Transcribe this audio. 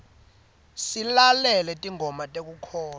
silalela tingoma tekukholwa